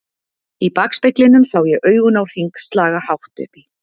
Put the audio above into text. Í bakspeglinum sé ég augun á Hring slaga hátt upp í